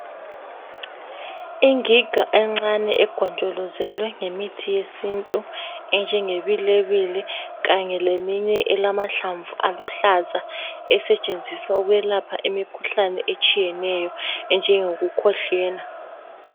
Ingiga encane egonjolozelwe ngemithi yesintu enjengebilebile kanye leminye elamahlamvu aluhlaza esetshenziswa ukwelapha imikhuhlane etshiyeneyo enjengokukhwehlela.